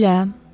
Belə?